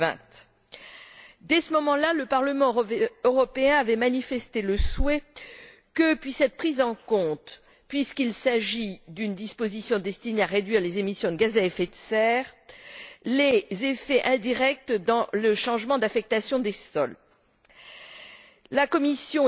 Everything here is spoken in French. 2020. Dès ce moment là, le Parlement européen avait manifesté le souhait que puissent être pris en compte puisqu'il s'agit d'une disposition destinée à réduire les émissions de gaz à effet de serre les effets indirects du changement d'affectation des sols La Commission